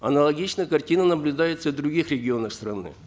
аналогичная картина наблюдается в других ренионах страны